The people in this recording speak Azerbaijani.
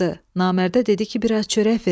Namərdə dedi ki, biraz çörək ver mənə.